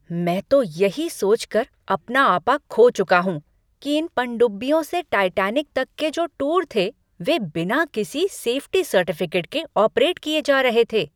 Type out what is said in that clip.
मैं तो यही सोचकर अपना आपा खो चुका हूँ कि इन पनडुब्बियों से टाइटैनिक तक के जो टूर थे वे बिना किसी सेफ्टी सर्टिफिकेट के ऑपरेट किए जा रहे थे।